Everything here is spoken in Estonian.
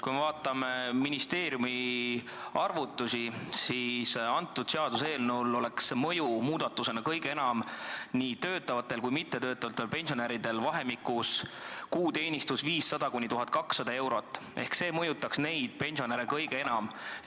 Kui me vaatame ministeeriumi arvutusi, siis näeme, et seaduseelnõu mõjutaks kõige enam nii töötavaid kui ka mittetöötavaid pensionäre, kelle kuuteenistus on vahemikus 500–1200 eurot, see mõjutaks neid pensionäre kõige enam.